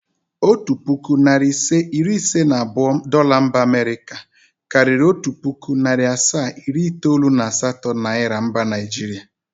Otu pụkụ, narị ise, iri iise na abụọ Dola mba Amịrịka karịṛ otu pụkụ, narị asaa, iri itoolu na asatọ niara mba naịjrịa ugbua.